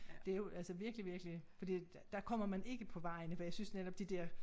Det jo altså virkelig virkelig fordi at der kommer man ikke på vejene for jeg synes netop de dér